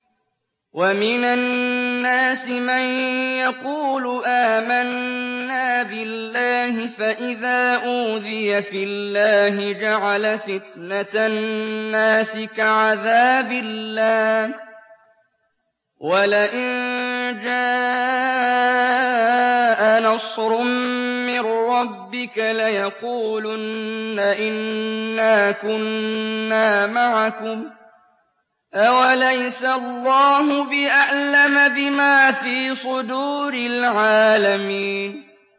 وَمِنَ النَّاسِ مَن يَقُولُ آمَنَّا بِاللَّهِ فَإِذَا أُوذِيَ فِي اللَّهِ جَعَلَ فِتْنَةَ النَّاسِ كَعَذَابِ اللَّهِ وَلَئِن جَاءَ نَصْرٌ مِّن رَّبِّكَ لَيَقُولُنَّ إِنَّا كُنَّا مَعَكُمْ ۚ أَوَلَيْسَ اللَّهُ بِأَعْلَمَ بِمَا فِي صُدُورِ الْعَالَمِينَ